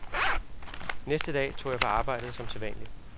Næste dag tog jeg på arbejdet som sædvanlig.